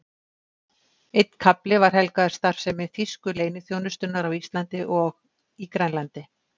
Einn kafli var helgaður starfsemi þýsku leyniþjónustunnar á Íslandi og í Grænlandi.